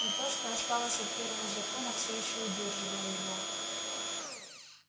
но то что осталось от первого закона все ещё удерживало его